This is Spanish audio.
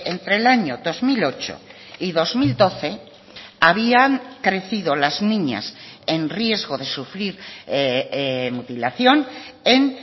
entre el año dos mil ocho y dos mil doce habían crecido las niñas en riesgo de sufrir mutilación en